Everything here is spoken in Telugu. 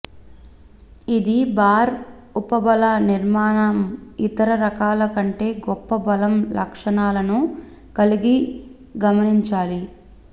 ఇది బార్ ఉపబల నిర్మాణం ఇతర రకాల కంటే గొప్ప బలం లక్షణాలను కలిగి గమనించాలి